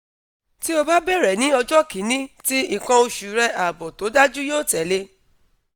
ti o ba bẹrẹ ni ọjọ kini ti ikan oṣu re aabo to daju yo tele